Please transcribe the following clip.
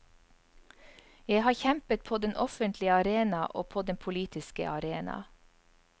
Jeg har kjempet på den offentlige arena og på den politiske arena.